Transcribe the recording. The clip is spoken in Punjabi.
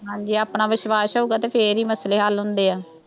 ਹਾਂਜੀ ਆਪਣਾ ਵਿਸ਼ਵਾਸ਼ ਹੋਊਗਾ ਅਤੇ ਫੇਰ ਹੀ ਮਸਲੇ ਹੱਲ ਹੁੰਦੇ ਆ,